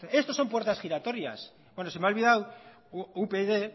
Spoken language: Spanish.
esto son puertas giratorias bueno se me ha olvidado upyd